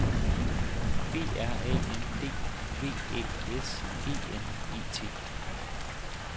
B R A N D V Æ S E N E T